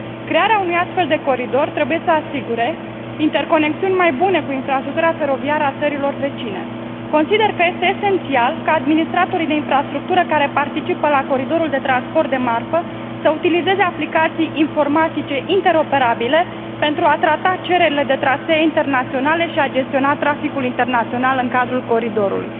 Crearea unui astfel de coridor trebuie să asigure interconexiuni mai bune cu infrastructura feroviară a țărilor vecine. Consider că este esențial ca administratorii de infrastructură care participă la coridorul de transport de marfă să utilizeze aplicații informatice interoperabile, pentru a trata cererile de trasee internaționale și a gestiona traficul internațional în cadrul coridorului.